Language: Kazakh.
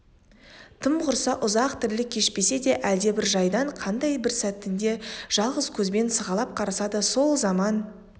тым құрса ұзақ тірлік кешпесе де әлдебір жайдан қандай бір сәтінде жалғыз көзбен сығалап қараса да сол заман